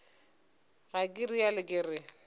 ga ke realo ke re